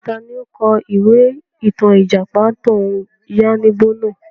Taàní ó kọ̀ ìwé ìtàn Ìjàpá tòun yànnìbo náà?